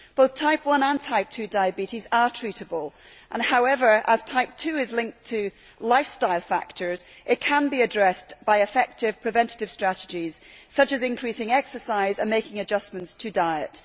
Both Type 1 and Type 2 diabetes are treatable and, as Type 2 is linked to lifestyle factors, it can be addressed by effective preventative strategies such as increasing exercise and making adjustments to diet.